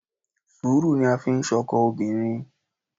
Sùúrù ni a fi ń ṣọkọ obìnrin